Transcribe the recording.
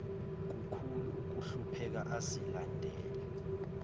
kukhulu ukuhlupheka azilandela